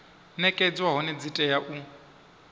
nekedzwa hone dzi tea u